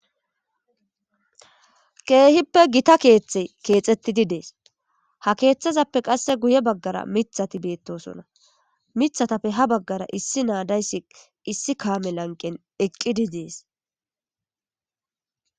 Kehipe gita kethey Kexetidi de'ese ha kethezappe qase guye bagara mithati betosona mithatappe ha bagara issi na dayisi issi kame laqen eqidi des